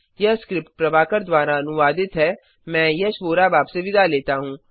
यह स्क्रिप्ट प्रभाकर द्वारा अनुवादित है मैं यश वोरा अब आपसे विदा लेता हूँ